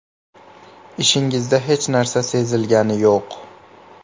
Ishingizda hech narsa sezilgani yo‘q.